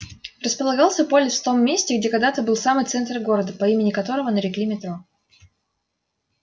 располагался полис в том месте где когда-то был самый центр города по имени которого нарекли метро